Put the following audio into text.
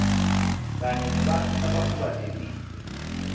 kanye nebantfu labakhubatekile